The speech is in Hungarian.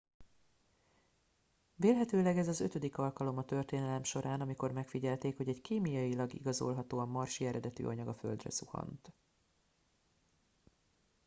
vélhetőleg ez az ötödik alkalom a történelem során amikor megfigyelték hogy egy kémiailag igazolhatóan marsi eredetű anyag a földre zuhant